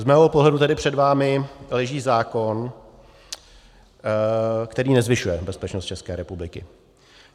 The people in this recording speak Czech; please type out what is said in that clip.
Z mého pohledu tedy před vámi leží zákon, který nezvyšuje bezpečnost České republiky.